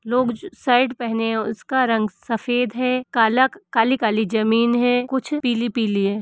लोग शर्ट पहने हैं उसका रंग सफेद है काला काली-काली जमीन है कुछ पीली-पीली है।